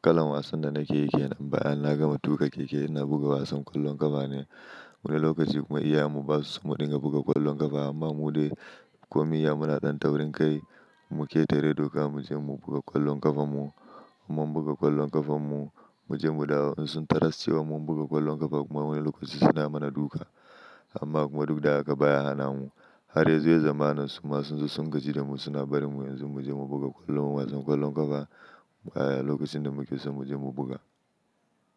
kalan wasan da nake yi kenan bayan na gama tuka keke ina buga wasan ƙwallon ƙafa ne. Wani lokaci kuma iyayen mu basu so mu dinga buga ƙwallon ƙafa amma mu dai komiyya muna ɗan taurin kai mu ketare doka mu je mu buga ƙwallon ƙafan mu. Mun buga ƙwallon ƙafan mu, mu je mu dawo in taras cewa mun buga ƙwallon ƙafa kuma wani lokaci suna mana duka amma kuma duk da haka baya hana mu. Har yazo ya zamana su ma sun zo sun gaji da mu suna barin mu yanzu mu je mu buga ƙwallon wasan ƙwallon ƙafa a lokacin da muke so mu je mu buga.